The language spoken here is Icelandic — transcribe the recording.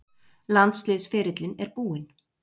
Landsliðsferillinn er búinn.